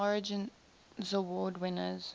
origins award winners